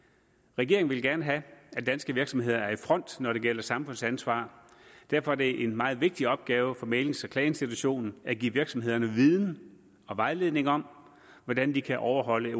regeringen vil gerne have at danske virksomheder er i front når det gælder samfundsansvar og derfor er det en meget vigtig opgave for mæglings og klageinstitutionen at give virksomhederne viden og vejledning om hvordan de kan overholde